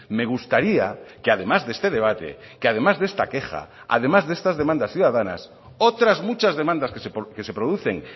me gustaría que además de este debate que además de esta queja además de estas demandas ciudadanas otras muchas demandas que se producen